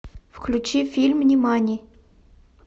включи фильм нимани